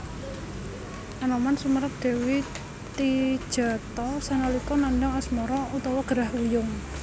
Anoman sumerep Dewi Tijatha sanalika nandhang asmara/gerah wuyung